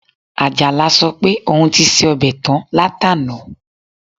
Àjàlá sọ pé òun ti se ọbẹ̀ tán látàná